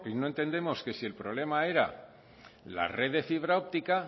no entendemos que si el problema era la red de fibra óptica